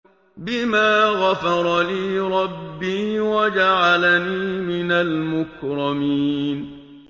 بِمَا غَفَرَ لِي رَبِّي وَجَعَلَنِي مِنَ الْمُكْرَمِينَ